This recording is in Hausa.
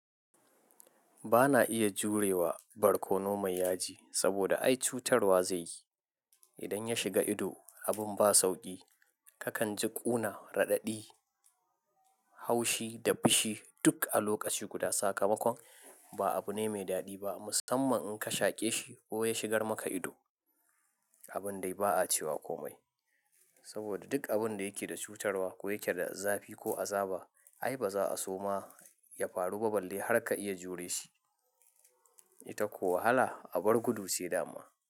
Bana iya jure wa barkono mai yaji saboda ai cutarwa zai yi. Idan ya shiga ido abin ba sauƙi. Kakan ji ƙuna, raɗaɗi, haushi da fishi duk a lokaci guda. Sakamakon ba abu ne mai daɗi ba musamman in ka shaƙe shi ko ya shigar maka ido. Abun dai ba a cewa komai saboda duk abin da yake da cutarwa ko yake da zafi ko azaba ai ba za a so ma ya faru ba balle har ka iya jure shi. Ita ko wahala abar gudu ce dama.